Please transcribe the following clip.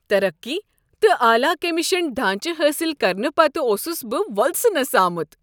ترقی تہٕ اعلی کمیشن ڈھانچہٕ حٲصل کرنہٕ پتہٕ اوسس بہٕ وۄلسنس آمت۔